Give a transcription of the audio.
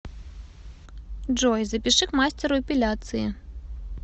джой запиши к мастеру эпиляции